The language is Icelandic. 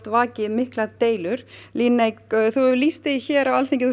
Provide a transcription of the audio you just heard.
vakið miklar deilur Líneik þú hefur lýst því hér á Alþingi